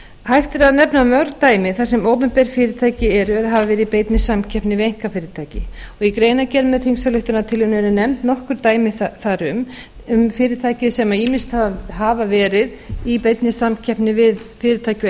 hægt er að nefna mörg dæmi þar sem opinber fyrirtæki eru eða hafa verið í beinni samkeppni við einkafyrirtæki í greinargerð með þingsályktunartillögunni eru nefnd nokkur dæmi þar um um fyrirtæki sem ýmist hafa verið í beinni samkeppni við fyrirtæki á